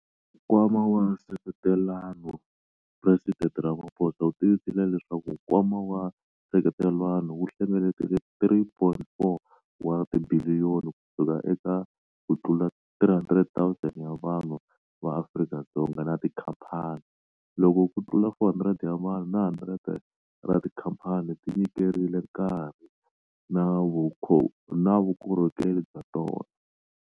Nkwama wa Nseketelano- Presidente Ramaphosa u tivisile leswaku Nkwama wa Nseketelano wu hlengeletile R3.4 wa tibiliyoni kusuka eka kutlula 300 000 ya vanhu va Afrika-Dzonga na tikhamphani, loko kutlula 400 ya vanhu na 100 ra tikhamphani ti nyiketerile nkarhi na vukorhokeri bya tona.